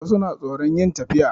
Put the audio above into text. Wasu na tsoron yin tafiya